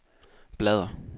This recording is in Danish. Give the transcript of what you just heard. bladr